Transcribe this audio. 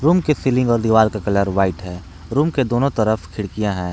के सीलिंग और दिवाल का कलर व्हाइट है रूम के दोनों तरफ खिड़कियां हैं।